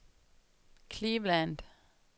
Cleveland